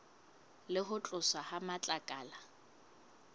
le ho tloswa ha matlakala